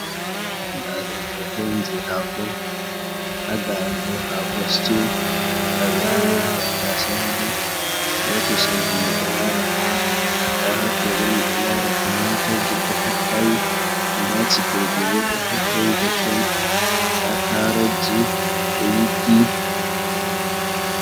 Nda ɗo bo hoto on je hako, ha ga in do hako stiu nda ɓe ɗo yewi tattasai ha nder, be kuselji ɓi do lara hader, nda hatto bo ɗon lara tumatorji ɗo tatta'e nda cikilji bo ɗo he’i totton, nda karoji do yiggi.